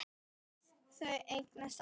Þau eignast aldrei neitt.